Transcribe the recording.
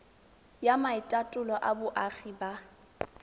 ya maitatolo a boagi ba